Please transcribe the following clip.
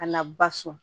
A na ba so